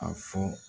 A fɔ